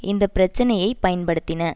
இந்த பிரச்சினையைப் பயன்படுத்தின